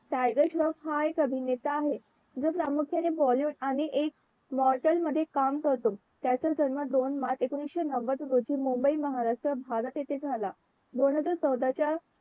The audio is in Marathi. टायगर श्राफ हा एक अभिनेता आहे जो प्रामुख्याने bollywood आणि एक समॉल्टर मध्ये काम करतो त्याचा जन्म दोन मार्च एकोणाविशे नव्वद रोजी मुंबई महाराष्ट्रा भारत येथे झाला. दोन हजार चौदाच्या